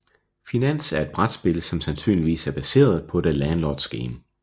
Finans er et brætspil som sandsynligvis er baseret på The Landlords Game